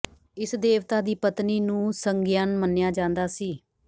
ਇਸ ਦੇਵਤਾ ਦੀ ਪਤਨੀ ਨੂੰ ਸਗਿਯਨ ਮੰਨਿਆ ਜਾਂਦਾ ਸੀ